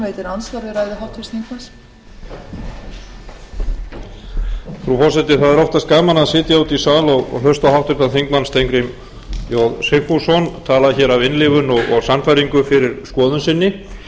frú forseti það er oftast gaman að sitja úti í sal og hlusta á háttvirtan þingmann steingrím j sigfússon tala af innlifun og sannfæringu fyrir skoðun sinni